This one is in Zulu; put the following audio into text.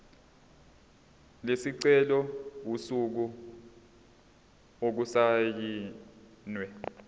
lesicelo usuku okusayinwe